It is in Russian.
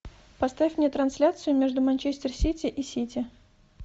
поставь мне трансляцию между манчестер сити и сити